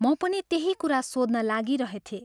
म पनि त्यही कुरा सोध्न लागिरहेथें।